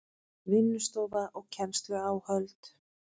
Vinnustofa og kennsluáhöld